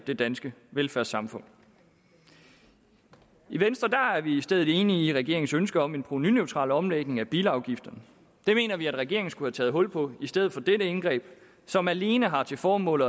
det danske velfærdssamfund i venstre er vi i stedet enige med regeringen i dens ønske om en provenuneutral omlægning af bilafgifterne det mener vi at regeringen skulle have taget hul på i stedet for dette indgreb som alene har til formål